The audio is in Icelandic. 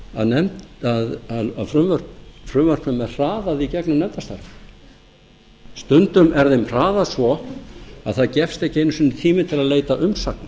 að frumvörpum er hraðað í gegnum nefndarstarfið stundum er þeim hraðað svo að það gefst ekki einu sinni tími til leita umsagna